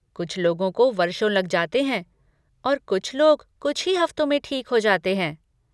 कुछ लोगों को वर्षों लग जाते हैं और कुछ लोग कुछ ही हफ्तों में ठीक हो जाते हैं।